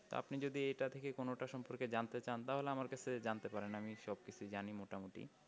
তো আপনি যদি এইটা থেকে কোনোটা সম্পর্কে জানতে চান তাহলে আমার কাছ থেকে জানতে পারেন আমি সবকিছুই জানি মোটামুটি